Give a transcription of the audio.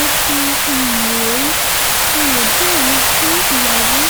ẹfun um rèé ọ̀yédèrán gun ìyàwó